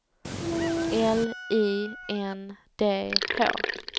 L I N D H